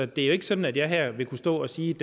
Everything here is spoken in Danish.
det er jo ikke sådan at jeg her vil kunne stå og sige